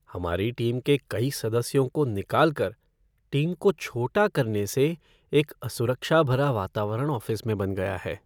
हमारी टीम के कई सदस्यों को निकालकर टीम को छोटा करने से एक असुरक्षा भरा वातावरण ऑफ़िस में बन गया है।